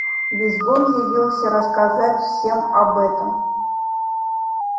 визгун явился рассказать всем об этом